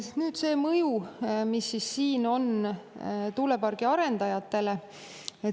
Nüüd mõjust tuulepargi arendajatele.